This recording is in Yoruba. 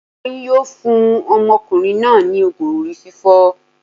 Won yóò fún ọmọkùnrin náà ní ògùn orí fífọ́.